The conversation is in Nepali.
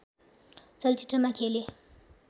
चलचित्रमा खेले